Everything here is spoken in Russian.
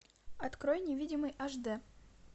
открой невидимый аш д